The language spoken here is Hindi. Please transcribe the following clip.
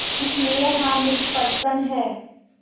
इसलिए हामिद प्रसन्न है